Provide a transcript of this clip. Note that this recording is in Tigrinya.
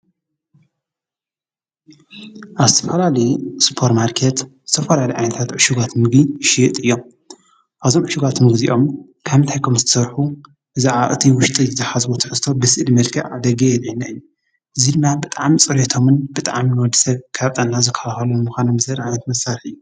ኣስትፈራሊ ስጶር ማርከት ዝተፈራሊ ኣይንታት ዕሹጓት ምጊ ሽጥ እዮም ኣዞምዕሽጓትም ጊዜኦም ካምታይኮም ዝሠርሑ ዝኣ እቲ ውሽጢ ዝኃዝቦ ትርስቶ ብስኢድ መልካዕ ደገይ የልይናይን ዙ ድማ ብጣም ጽርቶምን ብጥም ወድሰብ ካብጠና ዝኻውሃሉ ንምዃነ ምዝር ዓነት መሣርሕ እዩ።